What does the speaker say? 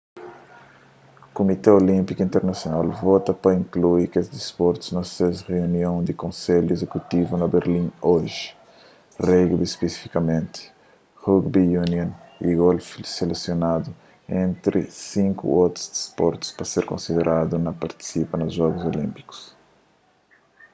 kumité olínpiku internasional vota pa inklui kes disportus na se reunion di konselhu izekutivu na berlin oji rugby spesifikamenti rugby union y golfi selesioanadu entri sinku otus disportus pa ser konsideradu pa partisipa na jogus olínpikus